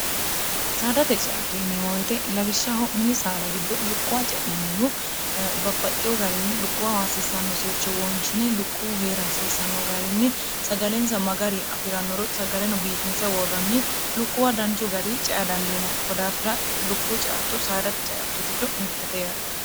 saadate ceatto yinimoyite labishsha ho'mini saara giddo lukkuwa ce'nanninu babbaxxiyo garinni lukkuwaawaasiisanno sircho wonshine lukkuhu hee'rhaasiisanno garinni sagalensa magari afi'rannoro sagaleno biifinse woorranni lukkuwa danchu gari cea dandiina kodaafira lukkuhu caatto saadate ceatto giddo mittete yaate